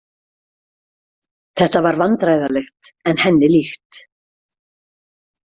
Þetta var vandræðalegt en henni líkt.